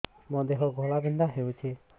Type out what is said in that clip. ମୋ ଦେହ ଘୋଳାବିନ୍ଧା ହେଉଛି